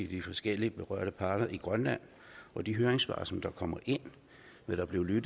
de forskellige berørte parter i grønland og de høringssvar som kommer ind vil der blive